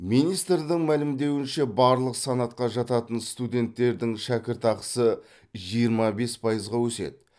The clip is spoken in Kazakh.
министрдің мәлімдеуінше барлық санатқа жататын студенттердің шәкіртақысы жиырма бес пайызға өседі